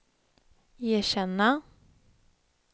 erkänna